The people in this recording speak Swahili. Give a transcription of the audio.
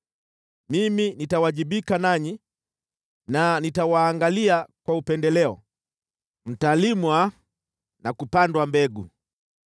Mimi ninawajibika nanyi na nitawaangalia kwa upendeleo, mtalimwa na kupandwa mbegu,